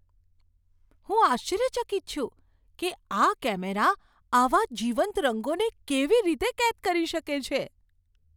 હું આશ્ચર્યચકિત છું કે આ કેમેરા આવા જીવંત રંગોને કેવી રીતે કેદ કરી શકે છે!